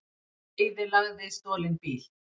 Eyðilagði stolinn bíl